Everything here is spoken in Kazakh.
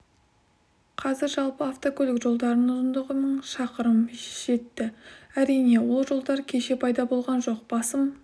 қазір жалпы автокөлік жолдарының ұзындығы мың шақырымға жетті әрине ол жолдар кеше пайда болған жоқ басым